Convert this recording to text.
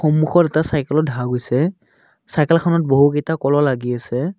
সন্মুখত এটা চাইকেলো দেখা গৈছে চাইকেলখনত বহুকেইটা কলো লাগি আছে।